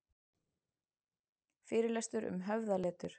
Fyrirlestur um höfðaletur